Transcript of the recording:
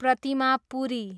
प्रतिमा पुरी